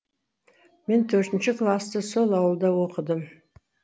мен төртінші класты сол ауылда оқыдым